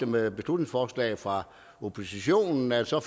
med beslutningsforslag fra oppositionen altså